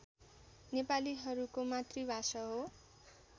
नेपालीहरूको मातृभाषा हो